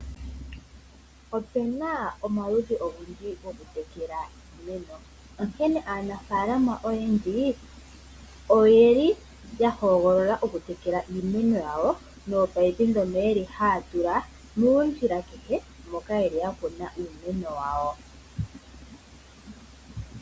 Opena omaludhi ogendji gokutekela iimeno, onkene aanafalama oyendji oyeli ya hogolola okutekela iimeno yawo nominino, ndhono yeli haya tula moondjila kehe moka yeli ya kuna iimeno yawo.